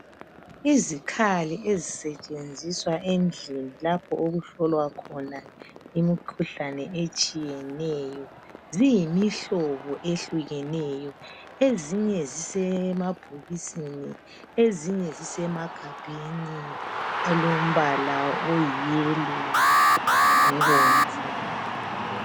Izikhali ezisetshenziswa endlini lapho okuhlolwa khona imikhuhlane etshiyeneyo ziyimihlobo ehlukeneyo ezinye zisemabhokisini ezinye zisemagabheni alombala oyi yellow lobomvu.